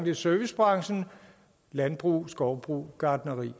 i servicebranchen i landbrug i skovbrug i gartneri